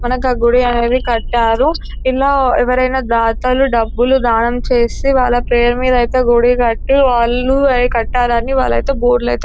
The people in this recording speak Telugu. మనకి ఆ గుడి అనేవి కట్టారు ఇలా ఎవరైనా దాతలు డబ్బులు దానం చేసి వాళ్ళ పేరు మీద అయితే గుడి కట్టి వాళ్ళు కట్టారని వాళ్ళైతే బోర్డు లైతే --